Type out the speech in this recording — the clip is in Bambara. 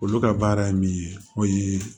Olu ka baara ye min ye n'o ye